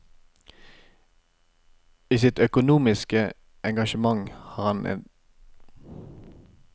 I sitt økumeniske engasjement var han på solid evangelisk grunn og et forbilde for mange kristne i vårt land.